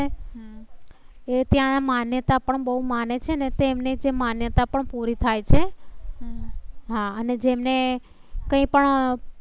ને એ ત્યાં માન્યતા પણ બહુ માને છે ને તો એમ ને જે માન્યતા પણ પૂરી થાય છે. હા, અને જેમ ને કઈ પણ.